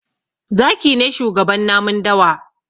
Zaki ne shugaban namun dawa.